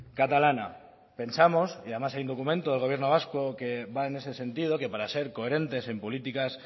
catalana pensamos y además hay un documento del gobierno vasco que va en ese sentido que para ser coherentes en políticas